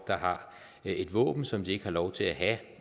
der har et våben som de ikke har lov til at have